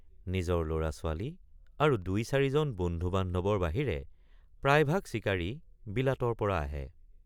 নিজৰ লৰাছোৱালী আৰু দুইচাৰিজন বন্ধুবান্ধৱৰ বাহিৰে প্ৰায়ভাগ চিকাৰী বিলাতৰপৰা আহে।